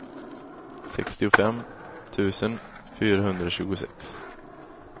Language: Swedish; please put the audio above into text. sextiofem tusen fyrahundratjugosex